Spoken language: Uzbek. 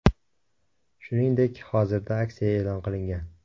Shuningdek, hozirda aksiya e’lon qilingan.